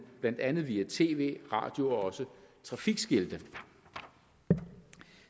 blandt andet via tv radio og også trafikskilte